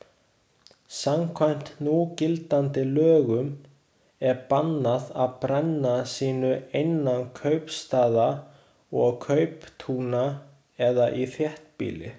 Samkvæmt núgildandi lögum er bannað að brenna sinu innan kaupstaða og kauptúna eða í þéttbýli.